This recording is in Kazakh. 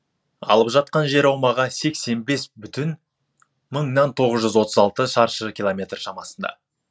алып жатқан жер аумағы сексен бес бүтін мыңнан тоғыз жүз отыз алты шаршы километр шамасында